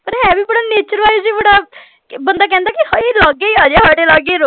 ਪਰਿਹ ਹੈ ਵੀ ਬੜਾ nature wise ਵੀ ਬੜਾ ਬੰਦਾ ਕਹਿੰਦੇ ਕਿ ਹਾਏ ਲਾਗੇ ਹੀ ਆ ਜਾ ਸਾਡੇ ਲਾਗੇ ਹੀ